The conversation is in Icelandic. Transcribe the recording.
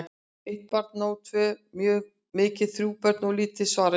Eitt barn er nóg, tvö of mikið, þrjú börn of lítið, svaraði Jón.